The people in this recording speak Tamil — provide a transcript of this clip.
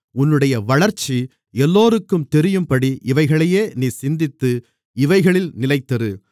உன்னுடைய வளர்ச்சி எல்லோருக்கும் தெரியும்படி இவைகளையே நீ சிந்தித்து இவைகளில் நிலைத்திரு